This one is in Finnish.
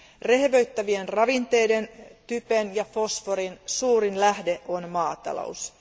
Rehevöittävien ravinteiden typen ja fosforin suurin lähde on maatalous.